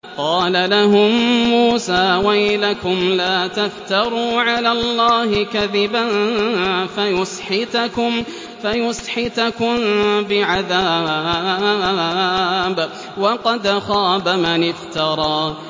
قَالَ لَهُم مُّوسَىٰ وَيْلَكُمْ لَا تَفْتَرُوا عَلَى اللَّهِ كَذِبًا فَيُسْحِتَكُم بِعَذَابٍ ۖ وَقَدْ خَابَ مَنِ افْتَرَىٰ